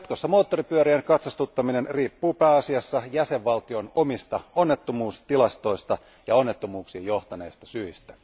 Jatkossa moottoripyörien katsastuttaminen riippuu pääasiassa jäsenvaltion omista onnettomuustilastoista ja onnettomuuksiin johtaneista syistä.